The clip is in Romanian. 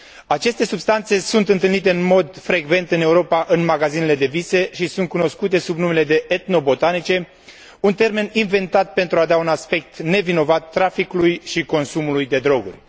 Aceste substanțe sunt întâlnite în mod frecvent în Europa, în magazinele de vise și sunt cunoscute sub numele de etnobotanice, un termen inventat pentru a da un aspect nevinovat traficului și consumului de droguri.